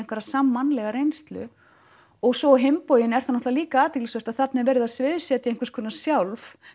sammannlega reynslu og svo á hinn bóginn er það líka athyglisvert að þarna er verið að sviðsetja eitthvað sjálf